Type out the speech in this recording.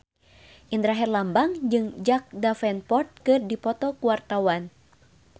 Indra Herlambang jeung Jack Davenport keur dipoto ku wartawan